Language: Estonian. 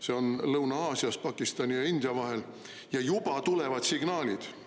See on Lõuna-Aasias Pakistani ja India vahel ja juba tulevad signaalid.